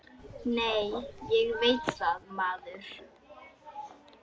Nei, ég veit það, maður!